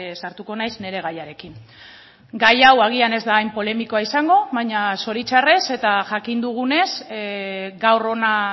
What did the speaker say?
sartuko naiz nire gaiarekin gai hau agian ez da hain polemikoa izango baina zoritzarrez eta jakin dugunez gaur hona